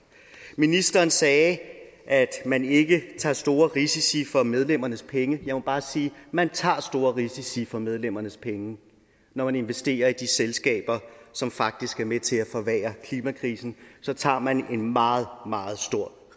ministeren sagde at man ikke tager store risici for medlemmernes penge jeg må bare sige at man tager store risici for medlemmernes penge når man investerer i de selskaber som faktisk er med til at forværre klimakrisen så tager man en meget meget stor